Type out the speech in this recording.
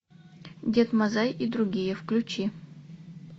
дед мазай и другие включи